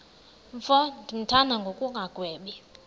mfo ndimthanda ngokungagwebi